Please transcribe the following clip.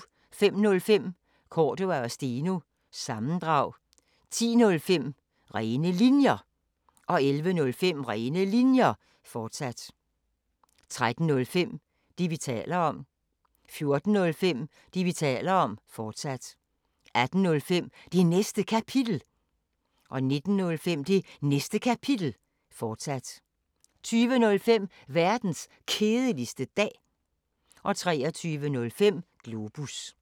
05:05: Cordua & Steno – sammendrag 10:05: Rene Linjer 11:05: Rene Linjer, fortsat 13:05: Det, vi taler om 14:05: Det, vi taler om, fortsat 18:05: Det Næste Kapitel 19:05: Det Næste Kapitel, fortsat 20:05: Verdens Kedeligste Dag 23:05: Globus